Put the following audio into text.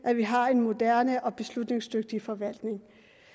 at vi har en moderne og beslutningsdygtig forvaltning